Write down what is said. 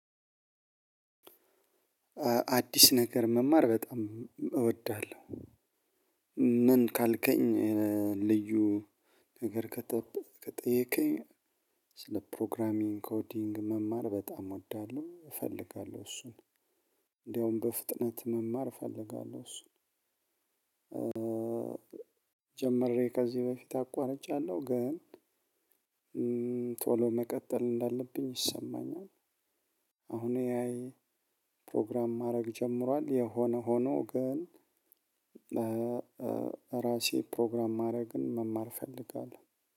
አዲስ ነገር መማር በጣም እወዳለሁ። ምን ካልከኝ? እ ልዩ ነገር ከጠ ከጠየከኝ ስለ ፕሮግራሚንግ ኮዲንግ መማር በጣም እወዳለሁ እፈልጋለሁ እሱን። እንደውም በፍጥነት መማር እፈልጋለሁ እሱን። ጀምሬ ከዚህ በፊት አቋርጫለሁ ግን እ ቶሎ መቀጠል እንዳለብኝ ይሰማኛል። አሁን ላይ ፕሮግራም ማድረግ ጀምሯል የሆነ ሆኖ ግን እ ራሴ ፕሮግራም ማድረግን መማር እፈልጋለሁ